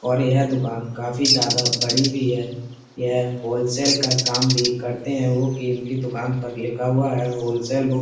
और यह दुकान काफी ज्यादा बड़ी भी है। यह होलसेल का काम भी करते हैं इनकी दुकान पर लिखा हुआ है होलसेल बुक --